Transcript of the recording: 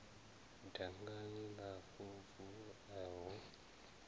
dangani la fovu a hu